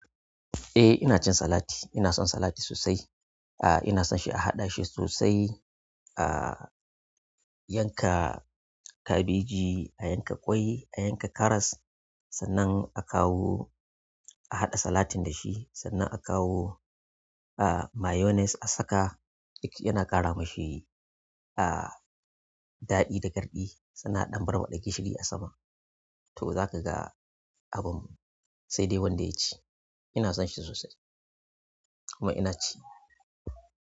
Eh ina cin salati, ina son salat sosai. Ah ina son shi a haɗa shi sosai. Ah yanka kabeji, a yanka ƙwai, a yanka karas sannan a kawo a haɗa salatin da shi, sannan a kawo ah mayonnaise a saka, yake yana ƙara mashi ah daɗi da garɗi. Sannan a ɗan barbaɗa gishiri a sama. To zaka ga abun sai dai wanda ya ci. Ina son shi sosai, kuma ina ci.